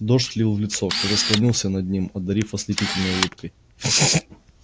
дождь лил в лицо кто-то склонился над ним одарив ослепительной улыбкой